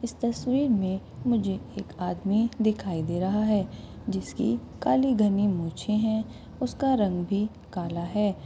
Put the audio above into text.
इस तसवीर मे मुझे एक आदमी दिखाई दे रहा हैजिसकी काली घनी मुछे हैउसका रंग भी काला है।